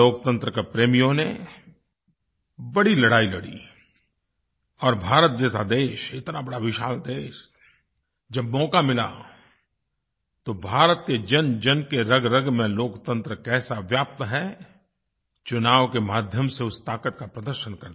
लोकतंत्र के प्रेमियों ने बड़ी लड़ाई लड़ी और भारत जैसा देश इतना बड़ा विशाल देश जब मौका मिला तो भारत के जनजन की रगरग में लोकतंत्र कैसा व्याप्त है चुनाव के माध्यम से उस ताक़त का प्रदर्शन कर दिया